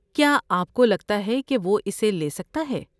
کیا آپ کو لگتا ہے کہ وہ اسے لے سکتا ہے؟